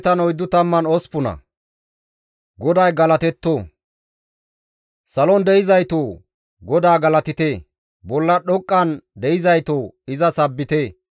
GODAY galatetto! Salon de7izaytoo! GODAA galatite; bolla dhoqqan de7izaytoo! Iza sabbite.